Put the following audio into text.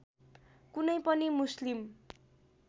कुनै पनि मुस्लिम